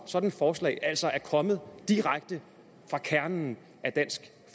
sådant forslag altså er kommet direkte fra kernen af dansk